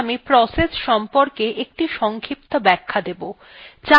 এখন আমি process সংক্রান্ত একটি সংক্ষিপ্ত ব্যাখ্যা দেবো